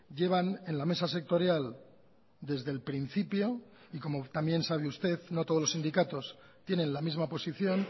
llevan en la mesa sectorial desde el principio y como también sabe usted no todos los sindicatos tienen la misma posición